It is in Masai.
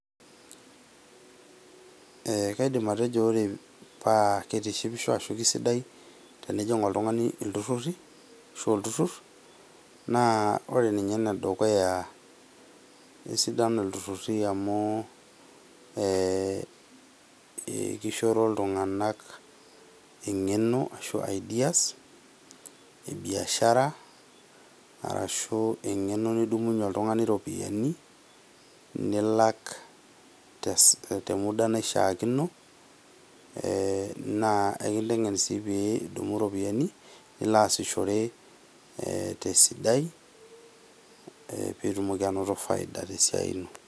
Ee kaidim atejo ore paa kitishipisho ashu kisidai oltungani iltururi ashu olturur naa ore ninye ene dukuya naa kisidai amu kishoro iltunganak engeno ashu ideas ashu engeno nidumunyie oltungani iropiyiani nilak te muda naishiaakino , naa enkitengen sii pidumu iropiyiani nilo asishore ee tesidai ee pitumoki anoto faida tesiai ino.